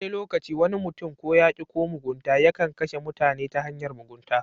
Wani lokaci wani mutum ko yaki ko mugunta yakan kashe mutane ta hanyar mugunta